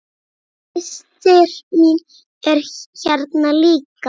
Systir mín er hérna líka.